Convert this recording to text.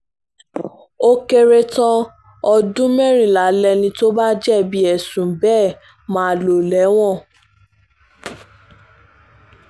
ó kéré tán ọdún mẹ́rìnlá lẹni tó bá jẹ̀bi ẹ̀sùn bẹ́ẹ̀ máa lò lẹ́wọ̀n